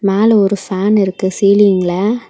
மேல ஒரு ஃபேன் இருக்கு சீலிங்ல .